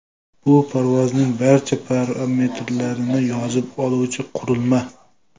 Bu parvozning barcha parametrlarini yozib oluvchi qurilma.